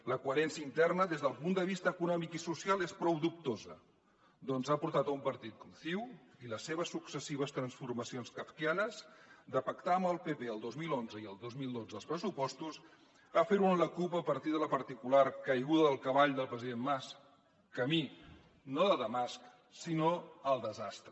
la coherència interna des del punt de vista econòmic i social és prou dubtosa ja que ha portat un partit com ciu i les seves successives transformacions kafkianes de pactar amb el pp el dos mil onze i el dos mil dotze els pressupostos a fer ho amb la cup a partir de la particular caiguda del cavall del president mas camí no de damasc sinó al desastre